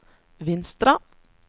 Vinstra